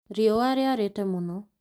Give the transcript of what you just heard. Riũa rĩarĩte mũno